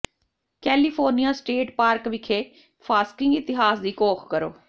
California state park ਵਿਖੇ ਫਾਸਕਿੰਗ ਇਤਿਹਾਸ ਦੀ ਘੋਖ ਕਰੋ